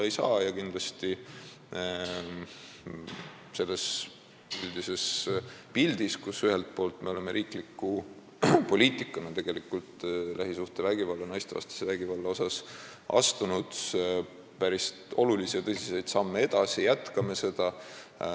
Kindlasti oleme me üldises pildis, riikliku poliitika käigus astunud lähisuhtevägivalla ja naistevastase vägivalla vastases võitluses päris tõsiseid samme edasi ja jätkame neid.